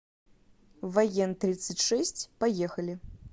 воентридцатьшесть поехали